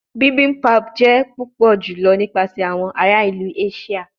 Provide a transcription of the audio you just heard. Bibimpap jẹ pupọ julọ nipasẹ awọn ara ilu Asia